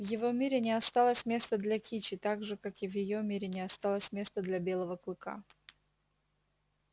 в его мире не осталось места для кичи так же как и в её мире не осталось места для белого клыка